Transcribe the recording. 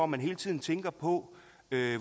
man hele tiden tænker på